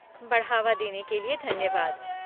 बढ़ावा देने के लिए धन्यवाद।